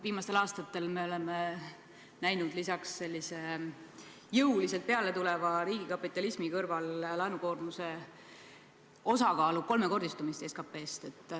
Viimastel aastatel oleme näinud jõuliselt peale tuleva riigikapitalismi kõrval, et laenukoormuse osakaal SKP-s on kolmekordistunud.